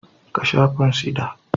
Ka sha fansida